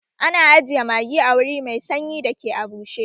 Ana ajiye magi a wuri mai sanyi da ke a bushe